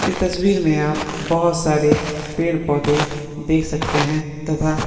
इस तस्वीर में आप बहुत सारे पेड़ पौधे देख सकते है तथा--